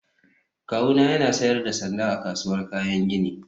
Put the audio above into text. Kawuna yana sayar da sanda a kasuwar kayan gini